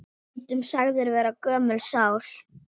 Stundum sagður vera gömul sál.